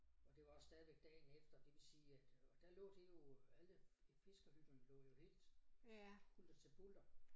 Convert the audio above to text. Og det var også stadigvæk dagen efter det vil sige at øh og der lå det jo alle fiskerhytterne lå jo helt hulter til bulter